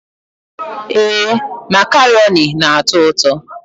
Ee, macaroni na-atọ ụtọ.